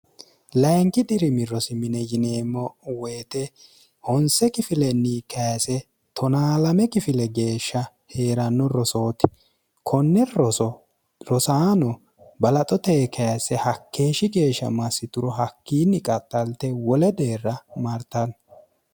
layinki dirimi rosimine yineemmo woyite honse kifilenni kayise 1o2me kifile geeshsha hee'ranno rosooti konne rosaano balaxo tee kayse hakkeeshshi geeshsha massi turo hakkiinni qaxxalte wole deerra martanno